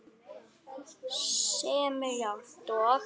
sem er jafnt og